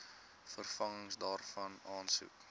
vervanging daarvan aansoek